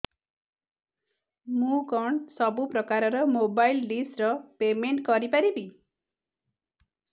ମୁ କଣ ସବୁ ପ୍ରକାର ର ମୋବାଇଲ୍ ଡିସ୍ ର ପେମେଣ୍ଟ କରି ପାରିବି